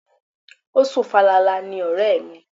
O sùn falala ni ọ̀rẹ́ mi.